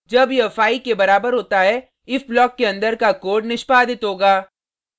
जब यह 5 के बराबर होता है if ब्लॉक के अंदर का कोड निष्पादित होगा